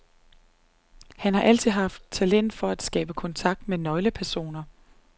Han har altid haft talent for at skabe kontakt med nøglepersoner.